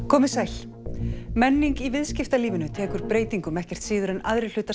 komiði sæl menning í viðskiptalífinu tekur breytingum ekkert síður en aðrir hlutar